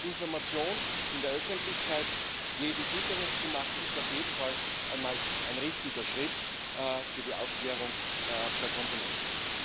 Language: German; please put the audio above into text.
Information in der Öffentlichkeit jedem zugänglich zu machen, ist auf jeden Fall einmal ein richtiger Schritt für die Aufklärung der Konsumenten.